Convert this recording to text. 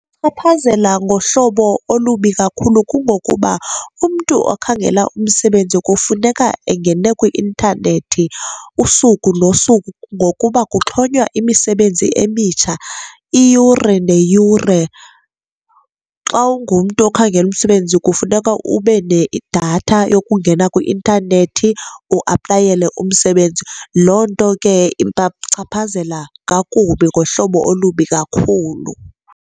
Ichaphazela ngohlobo olubi kakhulu kungokuba umntu okhangela umsebenzi kufuneka engene kwi-intanethi usuku nosuku ngokuba kuxhonywa imisebenzi emitsha iyure neyure. Xa ungumntu ongakhela umsebenzi kufuneka ube nedatha yokungena kwi-intanethi uaplayele umsebenzi, loo nto ke ibachaphazela kakubi, ngohlobo olubi kakhulu.